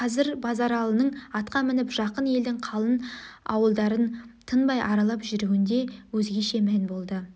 қазір базаралының атқа мініп жақын елдің қалың ауылдарын тынбай аралап жүруінде өзгеше мән болды